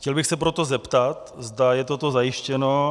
Chtěl bych se proto zeptat, zda je toto zajištěno.